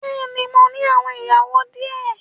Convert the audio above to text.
Bẹ́ẹ̀ni mo ní àwọn ìyàwó di ẹ